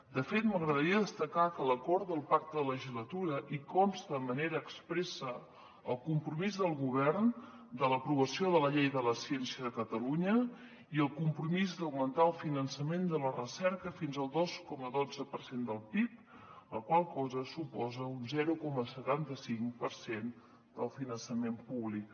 de fet m’agradaria destacar que a l’acord del pacte de legislatura hi consta de manera expressa el compromís del govern de l’aprovació de la llei de la ciència de catalunya i el compromís d’augmentar el finançament de la recerca fins al dos coma dotze per cent del pib la qual cosa suposa un zero coma setanta cinc per cent del finançament públic